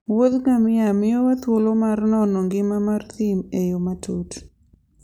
Wuoth ngamia miyowa thuolo mar nono ngima mar thim e yo matut.